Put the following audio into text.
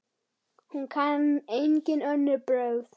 Hún kann engin önnur brögð.